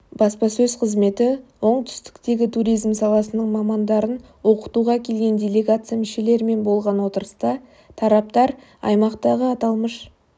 баспасөз қызметі оңтүстіктегі туризм саласының мамандарын оқытуға келген делегация мүшелерімен болған отырыста тараптар аймақтағы аталмыш